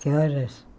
Que horas?